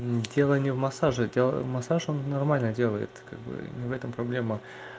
дело не в массаже массаж он нормально делает как бы не в этом проблема